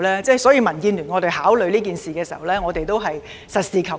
因此，民建聯在考慮此事時，都是實事求是。